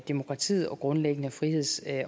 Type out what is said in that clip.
demokratiet og grundlæggende friheds